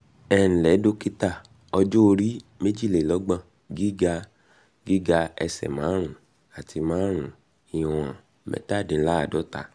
ẹǹlẹ́ dọ́kítà ọjọ́ orí- méjìlélọ́gbọ̀n gíga- gíga- ẹsẹ̀ márùn-ún àti márùn-ún ìwọ̀n-mẹ́tàdínláàádọ́ta